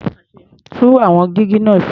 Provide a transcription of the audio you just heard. Tún àwọn jígí náà ṣe.